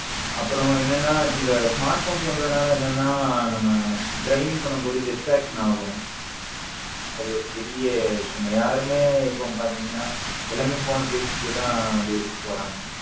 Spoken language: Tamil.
அப்பரம் என்னன்னா இந்த smartphones வந்ததல என்னன்னா நம்ம driving பண்ணும் போது distraction ஆகும் அது ஒரு பெரிய issues யாருமே பாத்திங்கன எல்லாமே phone பேசிட்டு தான் வண்டி ஒட்டிட்டு போறாங்க